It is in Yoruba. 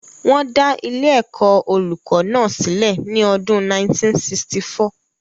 Wọ́n dá ilé-ẹ̀kọ́ olùkó náà sílè ní ọdún 1964.